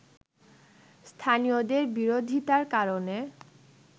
স্থানীয়দের বিরোধিতার কারণে